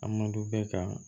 A mando bɛ ka